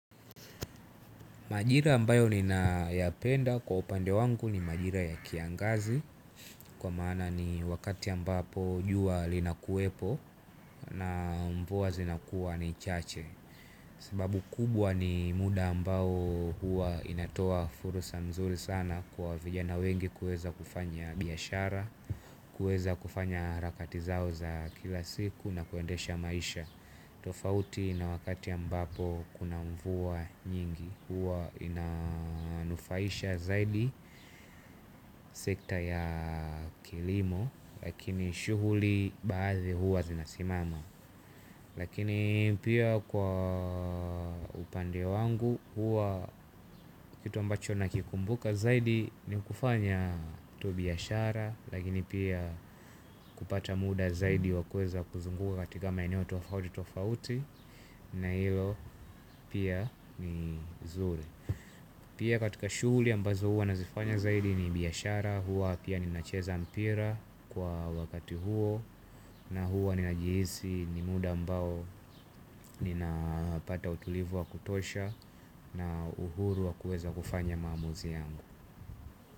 Majira ambayo ninayapenda kwa upande wangu ni majira ya kiangazi kwa maana ni wakati ambapo juwa linakuwepo na mvuwa zinakuwa ni chache. Sababu kubwa ni muda ambao huwa inatoa fursa mzuri sana kwa vijana wengi kueza kufanya biyashara, kueza kufanya harakati zao za kila siku na kuendesha maisha. Tofauti na wakati ya mbapo kuna mvua nyingi huwa inanufaisha zaidi sekta ya kilimo. Lakini shughuli baadhi huwa zinasimama. Lakini pia kwa upande wangu huwa kitu ambacho nakikumbuka zaidi ni kufanya tobi ya shara. Lakini pia kupata muda zaidi wakweza kuzunguka katika maeneo tofauti tofauti. Na ilo pia ni zuri. Pia katika shughuli ambazo hua nazifanya zaidi ni biyashara. Hua pia ninacheza mpira kwa wakati huo. Na hua ninajihisi ni muda mbao nina pata utulivu wa kutosha. Na uhuru wa kueza kufanya mamuzi yangu.